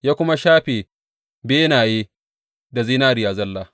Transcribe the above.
Ya kuma shafe benaye da zinariya zalla.